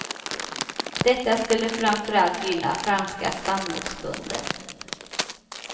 Detta skulle framför allt gynna franska spannmålsbönder.